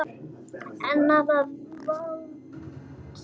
Ennið er þvalt.